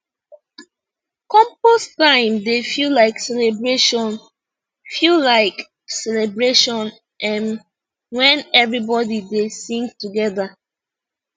compost time dey feel like celebration feel like celebration um when everybody dey sing together